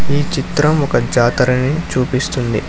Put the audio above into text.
ఈ చిత్రం ఒక జాతర ని చూపిస్తుంది.